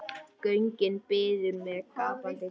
Göngin biðu með gapandi ginið.